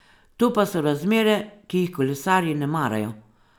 To pa so razmere, ki jih kolesarji ne marajo.